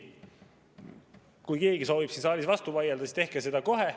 Kui keegi soovib siin saalis vastu vaielda, siis tehke seda kohe.